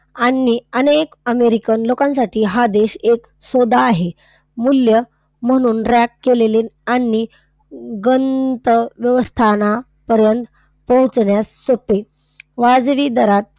अन्य अनेक अमेरिकन लोकांसाठी हा देश एक सौदा आहे. मूल्य म्हणून rank केलेले आणि गंतव्यस्थानापर्यंत पोहोचण्यास सोपे, वाजवी दरात,